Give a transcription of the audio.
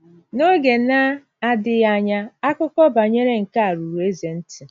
N’oge na - adịghị anya, akụkọ banyere nke a ruru eze ntị.